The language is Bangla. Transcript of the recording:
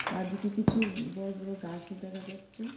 বাঁদিকে কিছু বড় বড় গাসও দেখা যাচ্ছে।